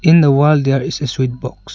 in the wall there is a switch box.